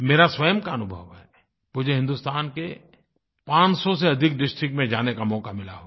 मेरा स्वयं का अनुभव है मुझे हिंदुस्तान के पाँच सौ से अधिक डिस्ट्रिक्ट में जाने का मौक़ा मिला होगा